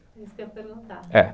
Isso que eu ia perguntar, é.